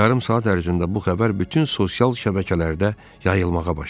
Yarım saat ərzində bu xəbər bütün sosial şəbəkələrdə yayılmağa başladı.